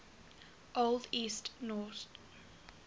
old east norse